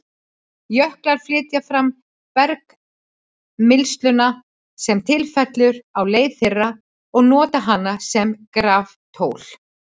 Jöklar flytja fram bergmylsnuna sem til fellur á leið þeirra og nota hana sem graftól.